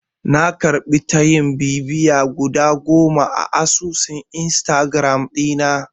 Na karɓi tayin bibiya guda bakwai a asusun Instagiram ɗina.